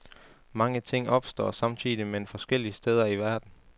Mange ting opstår samtidigt men forskellige steder i verden.